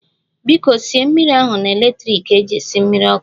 Biko sie mmiri ahu na electrik eji esi mmiri ọkụ